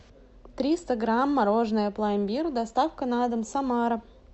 триста грамм мороженое пломбир доставка на дом самара